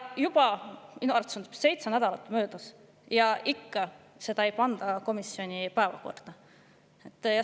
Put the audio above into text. Nüüd on sellest minu arvates juba seitse nädalat möödas, aga ikka veel ei ole pandud komisjoni päevakorda.